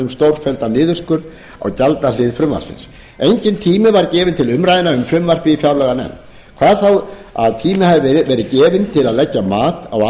um stórfelldan niðurskurð á gjaldahlið frumvarpsins enginn tími var gefinn til umræðna um frumvarpið í fjárlaganefnd hvað þá að tími hefði verið gefinn til að leggja mat á